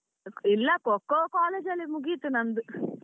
ಇಲ್ಲ Kho kho college ಅಲ್ಲಿ ಮುಗೀತು ನಂದು.